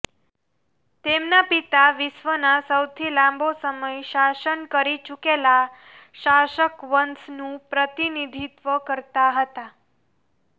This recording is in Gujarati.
તેમના પિતા વિશ્વના સૌથી લાંબો સમય શાસન કરી ચૂકેલા શાસકવંશનું પ્રતિનિધિત્વ કરતા હતા